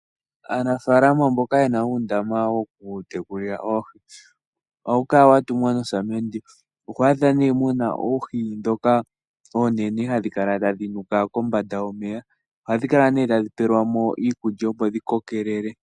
Aanafalama mboka yena undama woku tekulila oohi ohawukala watungwa nosamende ohwadha ne muna oohi dhoka onene hadhikala tadhinuka kombanda yomeya ohadhikala ne tadhipelwamo iikulya opo dhikokelele.